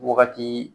Wagati